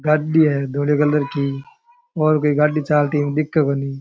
गाड़ी है धोळे कलर की और कोई गाड़ी चालती दिखे कोणी।